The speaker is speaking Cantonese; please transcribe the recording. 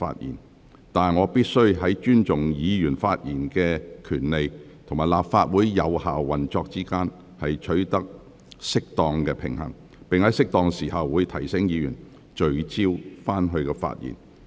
然而，我必須在尊重議員發言權利及立法會有效運作之間，取得適當平衡，並在適當時候提醒委員聚焦發言。